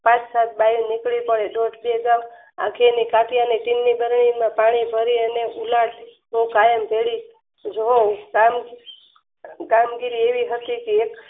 પાંચ સાત બાયું નીકળી પડે જે ચારપાંચ પાણી ભારે અને ઉલેચ જુઓ કામગીરી એવી હશે કે